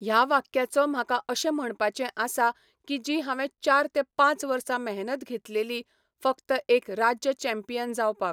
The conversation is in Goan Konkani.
ह्या वाक्याचो म्हाका अशें म्हणपाचें आसा की जी हांवें चार ते पांच वर्सां मेहनत घेतलेली फकत एक राज्य चॅम्पियन जावपाक